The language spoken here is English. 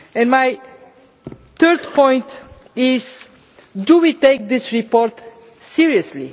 My third point is Do we take this report seriously?